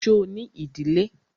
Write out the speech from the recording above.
Ṣo ní ìdílé?